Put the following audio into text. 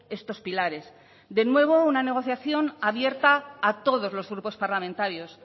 estos pilares de nuevo una negociación abierta a todos los grupos parlamentarios